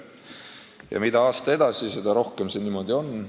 Ja mida aasta edasi, seda rohkem see niimoodi on.